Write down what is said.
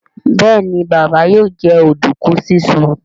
Béèni Baba yóò jẹ oduku sisùn.